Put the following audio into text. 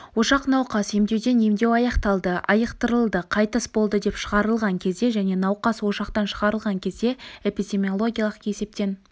ошақ науқас емдеуден емдеу аяқталды айықтырылды қайтыс болды деп шығарылған кезде және науқас ошақтан шығарылған кезде эпидемиологиялық есептен